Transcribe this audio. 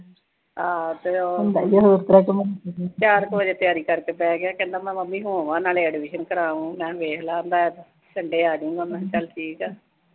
ਹਾਂ ਤੇ ਉਹ ਚਾਰ ਕੁ ਵਜੇ ਤਿਆਰੀ ਕਰਕੇ ਬਹਿ ਗਿਆ, ਕਹਿੰਦਾ ਮੈਂ ਮੰਮੀ ਹੋ ਆਵਾਂ ਨਾਲੇ ਐਡਮਿਸ਼ਨ ਕਰਾ ਆਊਂ। ਮੈਂ ਕਿਆ ਵੇਖ ਲਾ। ਕਹਿੰਦਾ ਮੈਂ ਸਨਡੇ ਆਜੂੰਗਾ। ਮੈਂ ਕਿਆ ਚਲ ਠੀਕ ਆ।